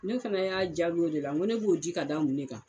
Ne fɛnɛ y'a jaabi o de la ko ne b'o di ka da mun ne kan